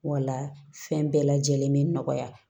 Wala fɛn bɛɛ lajɛlen bɛ nɔgɔya